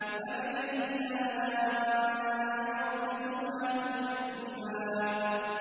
فَبِأَيِّ آلَاءِ رَبِّكُمَا تُكَذِّبَانِ